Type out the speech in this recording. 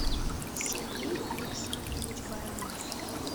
сергей александрович баранов